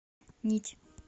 нить